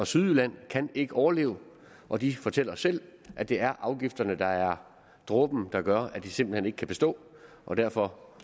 sydjylland kan ikke overleve og de fortæller selv at det er afgifterne der er dråben der gør at de simpelt hen ikke kan bestå og derfor